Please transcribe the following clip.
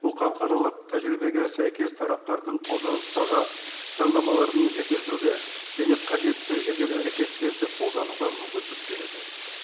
бұл халықаралық тәжірибеге сәйкес тараптардың қолданыстағы заңнамаларын жетілдіруге және қажетті жедел әрекеттерді қолдануға мүмкіндік береді